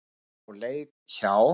sem á leið hjá.